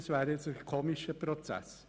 Das wäre ein merkwürdiger Prozess.